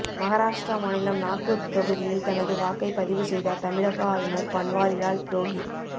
மகாராஷ்டிரா மாநிலம் நாக்பூர் தொகுதியில் தனது வாக்கை பதிவு செய்தார் தமிழக ஆளுநர் பன்வாரி லால் புரோஹித்